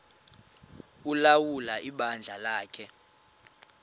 ulawula ibandla lakhe